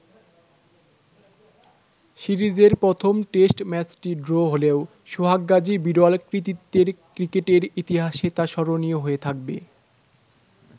সিরিজের প্রথম টেস্ট ম্যাচটি ড্র হলেও, সোহাগ গাজীর বিরল কৃতিত্বে ক্রিকেটের ইতিহাসে তা স্মরণীয় হয়ে থাকবে।